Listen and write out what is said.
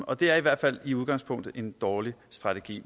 og det er i hvert fald i udgangspunktet en dårlig strategi